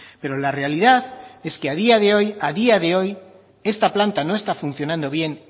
pero la realidad es que a día de hoy a día de hoy esta planta no está funcionando bien